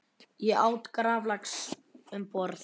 Ég át graflax um borð.